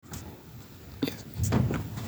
.